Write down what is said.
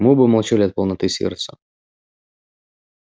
мы оба молчали от полноты сердца